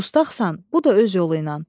Dustağsan, bu da öz yolu ilə.